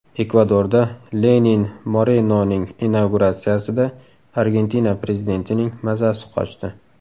Ekvadorda Lenin Morenoning inauguratsiyasida Argentina prezidentining mazasi qochdi.